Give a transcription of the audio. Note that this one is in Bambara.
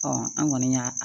an kɔni y'a